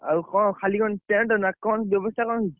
ଆଉ କଣ ଖାଲି କଣ tent ନା କଣ ବ୍ୟବସ୍ତା କଣ ହେଇଛି?